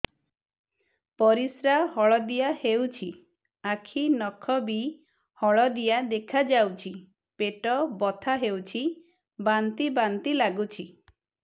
ପରିସ୍ରା ହଳଦିଆ ହେଉଛି ଆଖି ନଖ ବି ହଳଦିଆ ଦେଖାଯାଉଛି ପେଟ ବଥା ହେଉଛି ବାନ୍ତି ବାନ୍ତି ଲାଗୁଛି